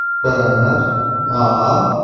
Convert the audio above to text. બરાબર હા